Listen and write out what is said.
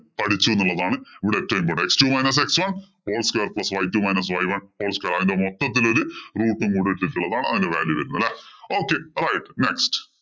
പഠിച്ചു എന്നുള്ളതാണ് ഇവിടെ ഏറ്റവും important ആയത്. x two minus x one whole square plus y two minus y one whole square. അതിന്‍റെ മൊത്തത്തില്‍ ഒരു root ഉം കൂടി ഇട്ടിട്ടുള്ളതാണ് അതിന്‍റെ value വരുന്നത്. Okay അതായത് next